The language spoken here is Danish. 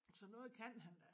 Så noget kan han da